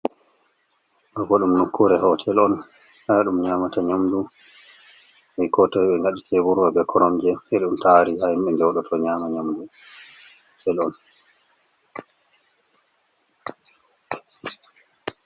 Ɗo ɓo ɗum nukkure hotel on, ha ɗum nyamata nyamɗu. E ko toi ɓe gaɗi teɓurwa, ɓe koromje. Ɓa ɗon taariga ha himɓe joɗoto nyama nyamɗu.